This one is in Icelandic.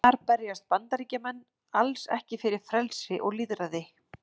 Þar berjast Bandaríkjamenn alls ekki fyrir frelsi og lýðræði.